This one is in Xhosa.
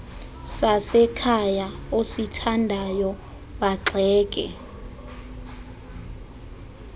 sasekhaya osithandayo bagxeke